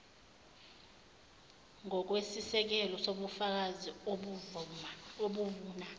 ngokwesisekelo sobufakazi obuvuna